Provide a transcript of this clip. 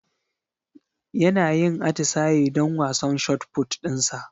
Yana yin atisaye don wasan shotput dinsa